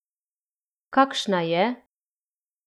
Kakšna je?